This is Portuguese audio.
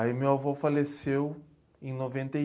Aí meu avô faleceu em noventa e